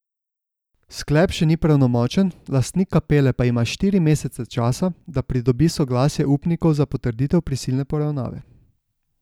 Sklep še ni pravnomočen, lastnik Kapele pa ima štiri mesece časa, da pridobi soglasja upnikov za potrditev prisilne poravnave.